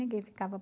ninguém ficava